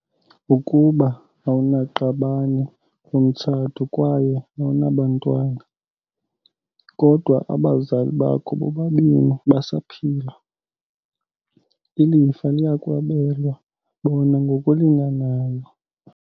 Ukuba awunaqabane lomtshato kwaye awunabantwana, kodwa abazali bakho bobabini basaphila, ilifa liyakwabelwa bona ngokulinganayo.